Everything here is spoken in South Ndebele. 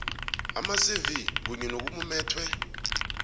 amacv kunye nokumumethwe